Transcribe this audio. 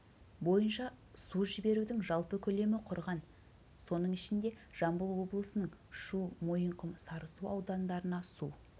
бойынша су жіберудің жалпы көлемі құрған соның ішінде жамбыл облысының шу мойынқұм сарысу аудандарына су